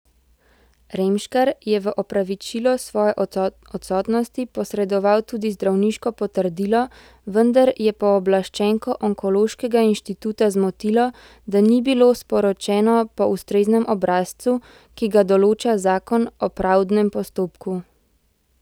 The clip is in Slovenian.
Remškar je v opravičilo svoje odsotnosti posredoval tudi zdravniško potrdilo, vendar je pooblaščenko Onkološkega inštituta zmotilo, da ni bilo sporočeno po ustreznem obrazcu, ki ga določa zakon o pravdnem postopku.